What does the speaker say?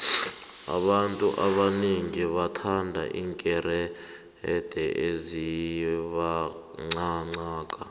abantu abanengi bathanda iinkerede ezibangqangqaka